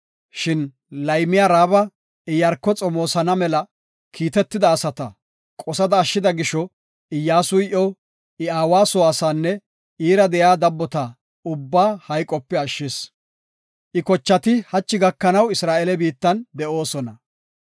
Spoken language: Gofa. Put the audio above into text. Shin laymiya Raaba Iyaarko xomoosana mela kiitetida asata qosada ashshida gisho, Iyyasuy iyo, I aawa soo asaanne iira de7iya dabbota ubbaa hayqope ashshis. I kochati hachi gakanaw Isra7eele biittan de7oosona.